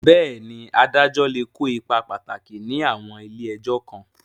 Bẹ́ẹ̀ni, adájọ́ lè kó ipa pàtàkì ní àwọn ilé ẹjọ́ kan.